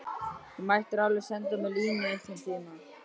Þú mættir alveg senda mér línu einhverntíma.